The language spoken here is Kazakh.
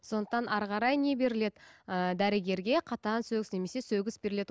сондықтан әрі қарай не беріледі ыыы дәрігерге қатаң сөгіс немесе сөгіс беріледі